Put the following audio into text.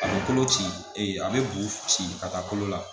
A bɛ kolo ci a bɛ bo ci ka taa kolo la